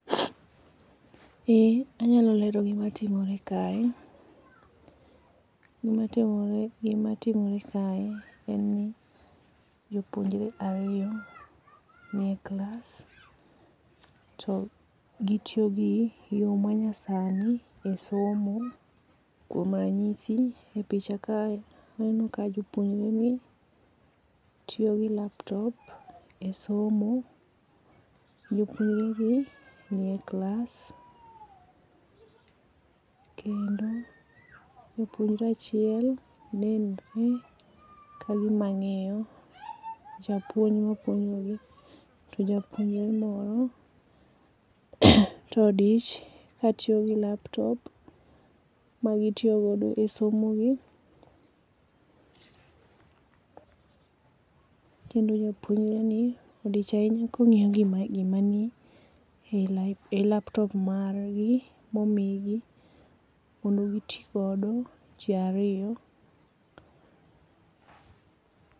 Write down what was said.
Eeeh, anyalo lero gima timore kae. Gima timore, gima timore kae en ni jopuonjre ariyo nie klas to gitiyo gi yoo ma nyasani e somo kuom ranyisi e picha kae waneno ka jopuonjre gi tiyo gi laptop e somo. Jopuonjre gi nie klas kendo japuonjre achiel nenre kagima ngiyo japuonj mapuojogi to japuonjre moro to odich katiyo gi laptop magitiyo godo e somo gi kendo japuonjre ni odich ahiya kongiyo gima nie laptop margi momigi mondo gitii godo jii ariyo